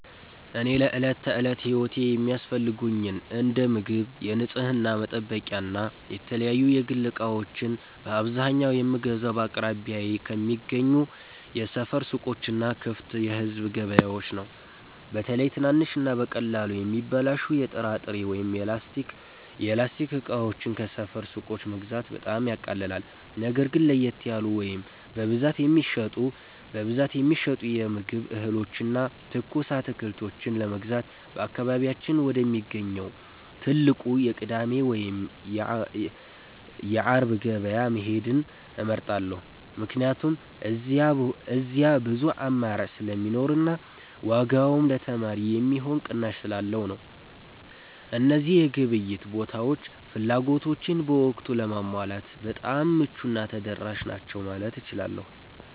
እኔ ለዕለት ተዕለት ሕይወቴ የሚያስፈልጉኝን እንደ ምግብ፣ የንጽሕና መጠበቂያና የተለያዩ የግል ዕቃዎችን በአብዛኛው የምገዛው በአቅራቢያዬ ከሚገኙ የሰፈር ሱቆችና ክፍት የሕዝብ ገበያዎች ነው። በተለይ ትናንሽና በቀላሉ የሚበላሹ የጥራጥሬ ወይም የላስቲክ ዕቃዎችን ከሰፈር ሱቆች መግዛት በጣም ያቃልላል። ነገር ግን ለየት ያሉ ወይም በብዛት የሚሸመቱ የምግብ እህሎችንና ትኩስ አትክልቶችን ለመግዛት በአካባቢያችን ወደሚገኘው ትልቁ የቅዳሜ ወይም የዓሙድ ገበያ መሄድን እመርጣለሁ፤ ምክንያቱም እዚያ ብዙ አማራጭ ስለሚኖርና ዋጋውም ለተማሪ የሚሆን ቅናሽ ስላለው ነው። እነዚህ የግብይት ቦታዎች ፍላጎቶቼን በወቅቱ ለማሟላት በጣም ምቹና ተደራሽ ናቸው ማለት እችላለሁ።